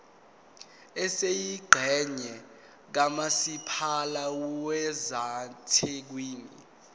esiyingxenye kamasipala wasethekwini